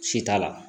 Si t'a la